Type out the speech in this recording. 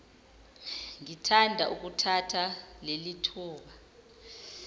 ngithanda ukuthatha lelithuba